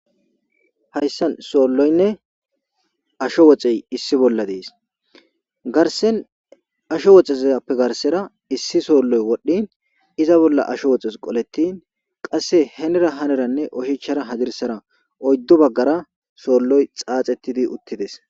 hayssan soolloynne asho woxey issi bolla dees garsen asho woxezyappe garsera issi soolloy wodhdhin iza bolla asho woxes qolettin qasse henera haneranne ohichara hadirsara oyddu baggara soolloy xaaxettidi uttides